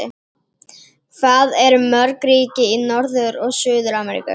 Hvað eru mörg ríki í Norður- og Suður-Ameríku?